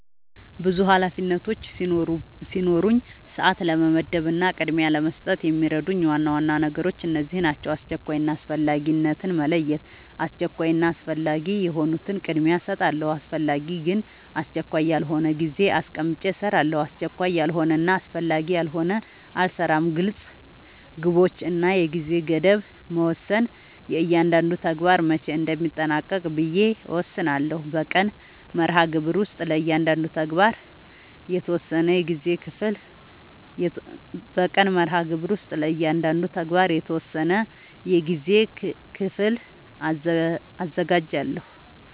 ብዙ ኃላፊነቶች ሲኖሩኝ ሰዓት ለመመደብ እና ቅድሚያ ለመስጠት የሚረዱኝ ዋና ዋና ነገሮች እነዚህ ናቸው :-# አስቸኳይ እና አስፈላጊነትን መለየት:- አስቸኳይ እና አስፈላጊ የሆኑትን ቅድሚያ እሰጣለሁ አስፈላጊ ግን አስቸካይ ያልሆነውን ጊዜ አስቀምጨ እሰራለሁ አስቸካይ ያልሆነና አስፈላጊ ያልሆነ አልሰራውም # ግልፅ ግቦች እና የጊዜ ገደብ መወሰን እያንዳንዱን ተግባር መቼ እንደሚጠናቀቅ ብዬ እወስናለሁ በቀን መርሃግብር ውስጥ ለእያንዳንዱ ተግባር የተወሰነ የጊዜ ክፍል አዘጋጃለሁ